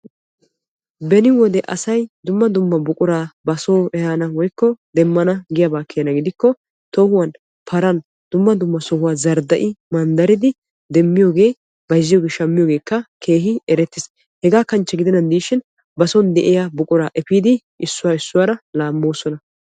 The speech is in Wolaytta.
beni wode asay dumma dumma buqura basoo woykko demmana giyaaba keena gidikko tohuwan paran dumma dumma zardda'idi demmiyooge bayzziyooge shammiyoogekka keehin erettiis. hegaa kanchche gidennan gidishin basoo de'iyaa buqurakka efiidi issoy issuwaaara laammoosona.